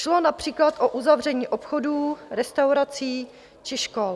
Šlo například o uzavření obchodů, restaurací či škol.